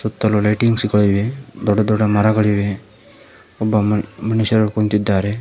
ಸುತ್ತಲು ಲೈಟಿಂಗ್ಸ್ ಗಳು ಇವೆ ದೊಡ್ಡ ದೊಡ್ಡ ಮರಗಳಿವೆ ಒಬ್ಬ ಮುನುಷ್ ಮನುಷ್ಯರು ಕುಂತಿದ್ದಾರೆ.